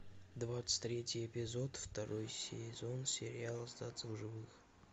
двадцать третий эпизод второй сезон сериал остаться в живых